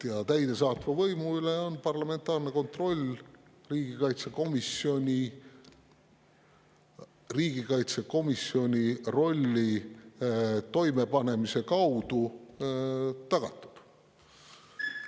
Ja täidesaatva võimu üle on parlamentaarne kontroll riigikaitsekomisjoni rolli täitmise kaudu tagatud.